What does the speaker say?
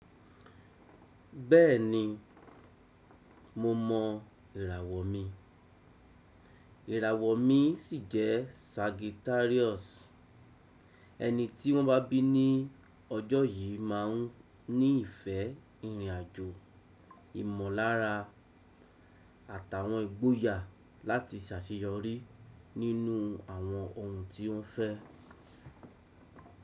Bẹ́ẹ̀ni mo mọ ìràwọ̀ mi, ìràwọ̀ mi sì jẹ́ Sagittarius. Ẹni tí wọ́n bá bí ní ọjọ́ yìí máa ń ní ìfẹ́ ìrìn àjò, ìmọ̀lára àtàwọn ìgboyà láti sàṣeyọrí nínú àwọn ohun tí ó fẹ́.